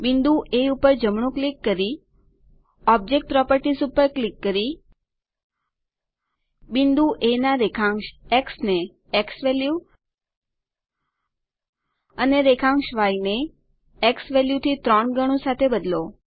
બિંદુ એ ઉપર જમણું ક્લિક કરી ઓબ્જેક્ટ પ્રોપર્ટીઝ ઉપર ક્લિક કરી બિંદુ એ ના રેખાંશ એક્સ ને ઝવેલ્યુ અને રેખાંશ ય ને ઝવેલ્યુ થી ત્રણ ગણું સાથે બદલો